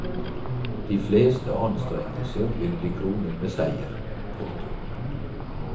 De fleste anstrengelser vil bli kronet med seier. punktum